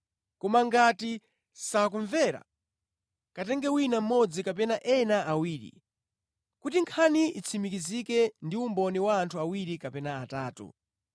Koma ngati sakumvera, katenge wina mmodzi kapena ena awiri, ‘kuti nkhani itsimikizike ndi umboni wa anthu awiri kapena atatu.’